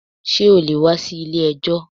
Ṣé o lè wá sí ilé ẹjọ́?